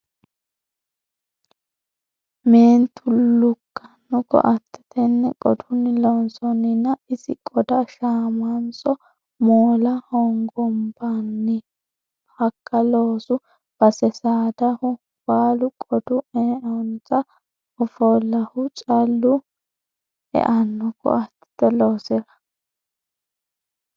Meentu lukkano koatte tene qodunni loonsoninna, isi qoda shamanso moola hogombanni hakka loosu base? saadahu baalu qodu eanonso hofaluhu callu eano koatete loosira ?